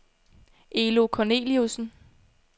Elo Corneliussen